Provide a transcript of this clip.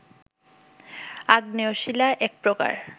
আগ্নেয় শিলা এক প্রকার